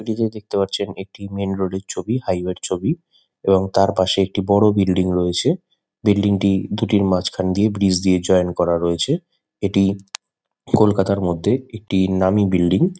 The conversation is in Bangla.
ছবিটিতে দেখতে পারছেন একটি মেন রোড -এর ছবি হাই ওয়ে -র ছবি এবং তার পাশে একটি বড়ো বিল্ডিং রয়েছে। বিল্ডিং -টি দুটির মাঝখান দিয়ে ব্রিজ দিয়ে জয়েন করা রয়েছে। এটি কলকাতার মধ্যে একটি নামী বিল্ডিং ।